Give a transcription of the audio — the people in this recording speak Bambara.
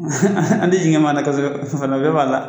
an di jigin maa na kosɛbɛ fɛnɛ, o bɛɛ b'a la